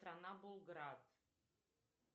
страна булград